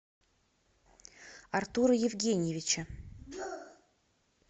артура евгеньевича